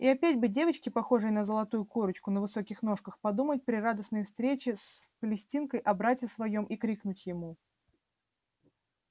и опять бы девочке похожей на золотую курочку на высоких ножках подумать при радостной встрече с палестинкой о брате своём и крикнуть ему